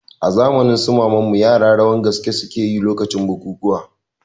A zamanin su maman mu yara rawan gaske suke yi lokacin bukuwa